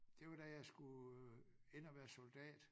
Det var da jeg skulle hen og være soldat